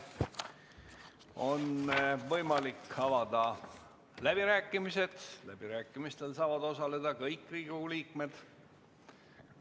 On võimalik avada läbirääkimised, millel saavad osaleda kõik Riigikogu liikmed.